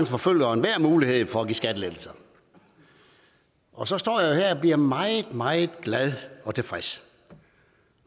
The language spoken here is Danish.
forfølger enhver mulighed for at give skattelettelser og så står jeg og bliver meget meget glad og tilfreds